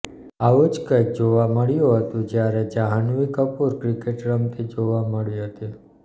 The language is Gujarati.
આવું જ કંઈક જોવા મળ્યું હતું જ્યારે જાહ્નવી કપૂર ક્રિકેટ રમતી જોવા મળી હતી